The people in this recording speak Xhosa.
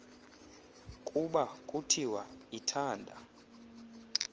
kuba kuthiwa ithanda